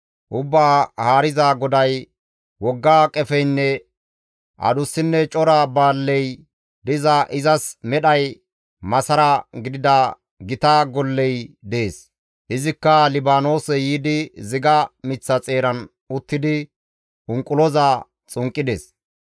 Ubbaa Haariza GODAY, ‹Wogga qefeynne adussinne cora baalley diza izas medhay masara gidida gita golley dees. Izikka Libaanoose yiidi ziga miththa xeeran uttidi unquloza xunqqides.